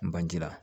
N bangira